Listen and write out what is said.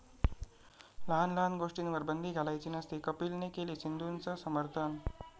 लहान लहान गोष्टींवर बंदी घालायची नसते, कपिलने केलं सिद्धूंचं समर्थन